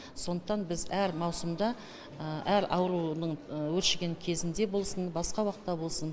сондықтан біз әр маусымда әр аурудың өршіген кезінде болсын басқа уақытта болсын